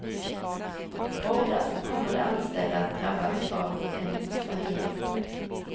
Hårdast kommer de anställda att drabbas av en sanering.